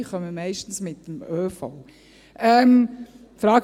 diese kommen meistens mit dem ÖV.